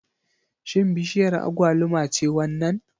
Shin bishiyar agwaluma ce wannan?